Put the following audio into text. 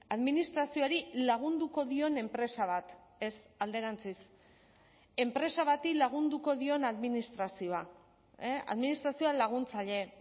administrazioari lagunduko dion enpresa bat ez alderantziz enpresa bati lagunduko dion administrazioa administrazioa laguntzaile